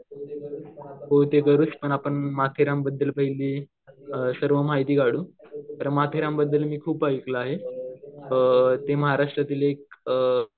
हो ते करूच पण आपण माथेरान बद्दल पहिले अ सर्व माहिती काढू. तर माथेरान बद्दल मी खूप ऐकलं आहे. ते महाराष्ट्रातील एक अ